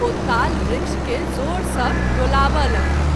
ओ ताल वृक्ष के जोर सँ डोलावय लगलाह।